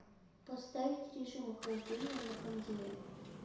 поставить режим охлаждения на кондее